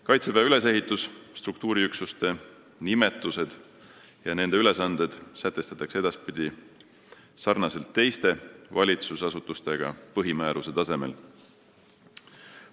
Kaitseväe ülesehitus, struktuuriüksuste nimetused ja nende ülesanded sätestatakse edaspidi sarnaselt teiste valitsusasutustega põhimääruse tasemel.